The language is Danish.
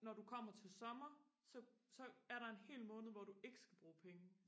når du kommer til sommer så så er der en hel måned hvor du ikke skal bruge penge